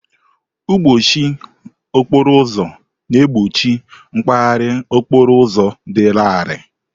Mkpọchi okporo ụzọ na-egbochi mgbaharị okporo ụzọ dị larịị.